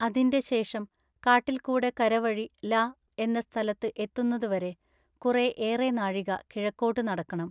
അതിന്റെ ശേഷം കാട്ടിൽ കൂടെ കര വഴി ല---എന്ന സ്ഥലത്തു എത്തുന്നതു വരെ കുറെ ഏറെ നാഴിക കിഴക്കോട്ടു നടക്കെണം.